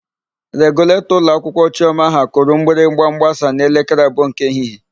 Reguletọ ụlọakwụkwọ Chiọma ha kụrụ mgbịrịgba mgbasa n'elekere abụọ nke ehihie.